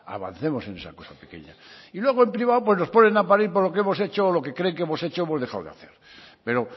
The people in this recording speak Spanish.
avancemos en esa cosa pequeña y luego en privado pues nos ponen a parir por lo que hemos hecho o lo que creen que hemos hecho o hemos dejado de hacer pero